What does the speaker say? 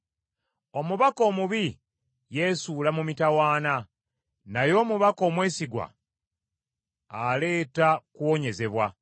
Omubaka omubi yeesuula mu mitawaana, naye omubaka omwesigwa aleeta kuwonyezebwa.